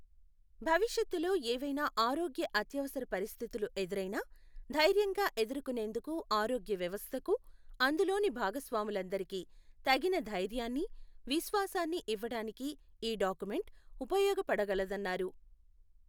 భవిష్యత్తులో ఏవైనా ఆరోగ్య అత్యవసర పరిస్థితులు ఎదురైనా ధైర్యంగా ఎదుర్కునేందుకు ఆరోగ్యవ్యవస్థకు, అందులోని భాగస్వాములందరికీ తగిన ధైర్యాన్ని, విశ్వాసాన్ని ఇవ్వటానికి ఈ డాక్యుమెంట్ ఉపయోగపడగలదన్నారు.